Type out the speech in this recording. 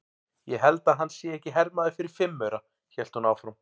Ég held að hann sé ekki hermaður fyrir fimm aura, hélt hún áfram.